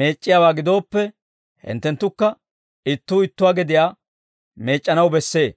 meec'c'iyaawaa gidooppe, hinttenttukka ittuu ittuwaa gediyaa meec'c'anaw bessee.